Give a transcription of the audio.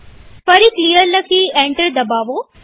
ફરી ક્લિયર લખી એન્ટર દબાવો